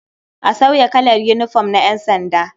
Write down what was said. A sauya kalar yinifom na ƴansanda.